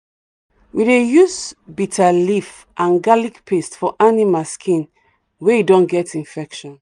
we dey use bitter leaf and garlic paste for animal skin wey don get infection.